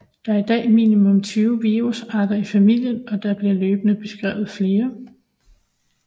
Der er i dag minimum 20 virusarter i familien og der bliver løbende beskrevet flere